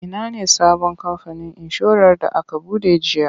Ina ne sabon kamfanin inshorar da aka buɗe jiya?